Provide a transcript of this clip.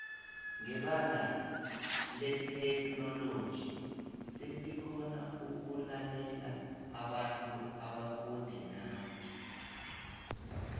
ngebanga letheknoloji sesikgona ukulalela abantu abakude nathi